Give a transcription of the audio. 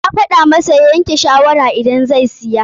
Na gaya masa ya yanke shawara idan zai siya.